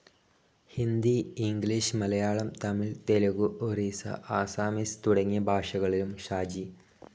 Hindi, English, Malayalam, Tamil, Telugu, Oriya, Assamese, തുടങ്ങിയ ഭാഷകളിലും ഷാജി.